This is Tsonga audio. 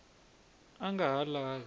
a a nga ha lavi